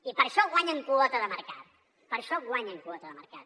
i per això guanyen quota de mercat per això guanyen quota de mercat